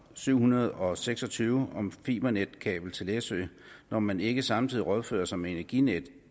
syv hundrede og seks og tyve om fibernetkabel til læsø når man ikke samtidig rådfører sig med energinetdk